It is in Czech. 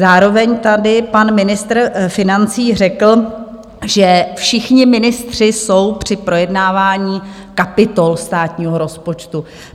Zároveň tady pan ministr financí řekl, že všichni ministři jsou při projednávání kapitol státního rozpočtu.